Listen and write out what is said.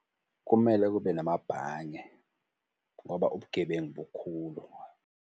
Kumele kube namabhange ngoba ubugebengu bukhulu.